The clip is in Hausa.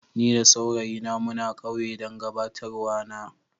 Ni da saurayi na muna kauye dan gabatarwa na.